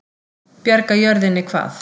Bjarga jörðinni hvað?